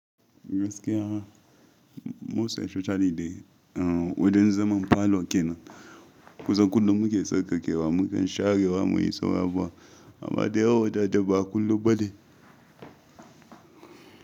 Gaskiya most expecially dai wajan zaman falo ke nan? Ku zo kullum muke sauƙaƙewa muke sharewa muyi suran abubuwa. Amman da ya wadata ba kullum ba ne.